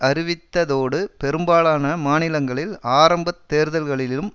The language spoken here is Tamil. அறிவித்ததோடு பெரும்பாலான மாநிலங்களில் ஆரம்பத் தேர்தல்களிலும்